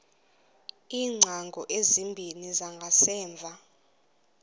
iingcango ezimbini zangasemva